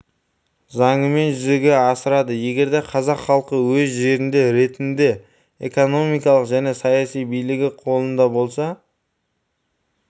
заңымен жүзеге асырады егерде қазақ халқы өз жерінде ретінде экономикалық және саяси билігі қолында бола